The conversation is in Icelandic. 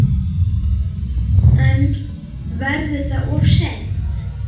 En verður það of seint?